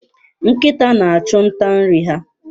Nkịta na-achụ nta nri ha.